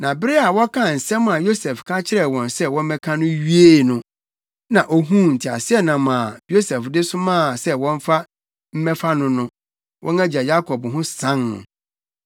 Na bere a wɔkaa nsɛm a Yosef ka kyerɛɛ wɔn sɛ wɔmmɛka no wiee no, na ohuu nteaseɛnam a Yosef de somaa sɛ wɔmfa mmɛfa no no, wɔn agya Yakob ho san no.